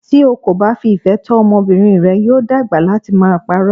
Tí o kò bá fi ìfẹ́ tọ́ ọmọbìnrin rẹ, yóò dàgbà láti máa pa'rọ́.